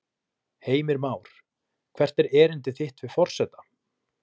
Heimir Már: Hvert er erindi þitt við forseta?